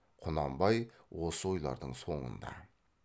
құнанбай осы ойлардың соңында